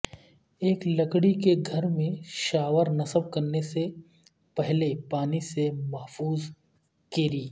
ایک لکڑی کے گھر میں شاور نصب کرنے سے پہلے پانی سے محفوظ کیری